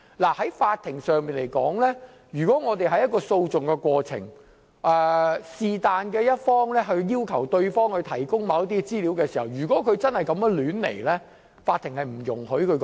以法庭來說，於訴訟的過程中，任何一方要求對方提供某些資料時，如果真的是胡亂提出，法庭是不容許的。